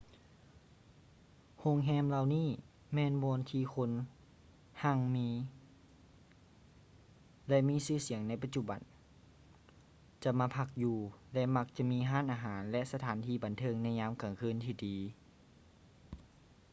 ໂຮງແຮມເຫຼົ່ານີ້ແມ່ນບ່ອນທີ່ຄົນຮັ່ງມີ ແລະ ມີຊື່ສຽງໃນປັດຈຸບັນຈະມາພັກຢູ່ ແລະ ມັກຈະມີຮ້ານອາຫານ ແລະ ສະຖານບັນເທີງໃນຍາມກາງຄືນທີ່ດີ